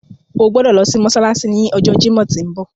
O gbodo lo si mósálásí ni ọjọ Jimọ ti nbọ.